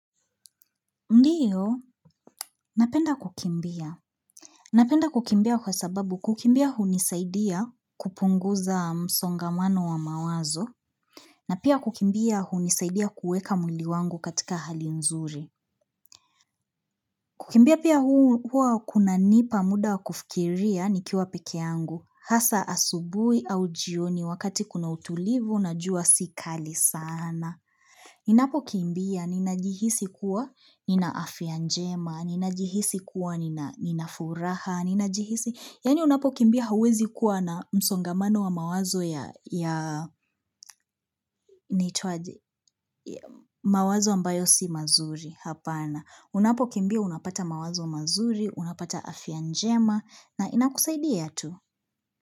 Ndiyo, napenda kukimbia. Napenda kukimbia kwa sababu kukimbia hunisaidia kupunguza msongamano wa mawazo. Na pia kukimbia hunisaidia kueka mwili wangu katika hali nzuri. Kukimbia pia hua kuna nipa muda kufikiria nikiwa pekee yangu. Hasa asubuhi au jioni wakati kuna utulivu na jua si kali sana. Ninapokimbia, ninajihisi kuwa, nina afya njema, ninajihisi kuwa, nina furaha, ninajihisi, yani unapokimbia hauwezi kuwa na msongamano wa mawazo ya mawazo ambayo si mazuri hapana. Unapokimbia, unapata mawazo mazuri, unapata afya njema, na inakusaidia tu.